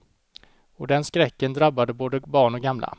Och den skräcken drabbar både barn och gamla.